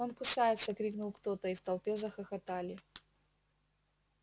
он кусается крикнул кто то и в толпе захохотали